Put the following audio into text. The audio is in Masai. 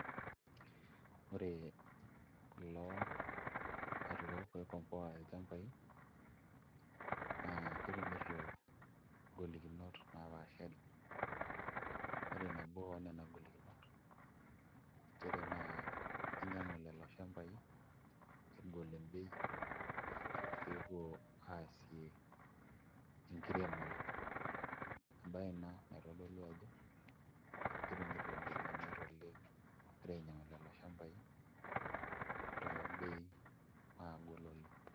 Ore kulo aturrok oikomboa ilchambai naa ketumito ngolikinot naapaashara ore nabo oonena golikinot nchere naa kinyuiang'u lelo shambai egol embei pee epuo aasie enkiremore embaye ina naitodolu ajo ketumito ngolikinot oleng' egira ainyiang'u lelo shambai tombeei naagol oleng'.